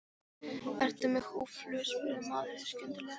Ertu með húðflúr? spurði maðurinn skyndilega.